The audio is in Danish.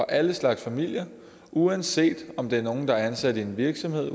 alle slags familier uanset om det er nogle der er ansat i en virksomhed